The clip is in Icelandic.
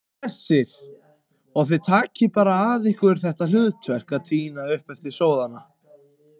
Hersir: Og þið bara takið að ykkur þetta hlutverk að tína upp eftir sóðana?